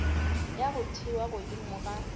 ya go thewa godimo ga